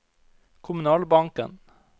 kommunalbanken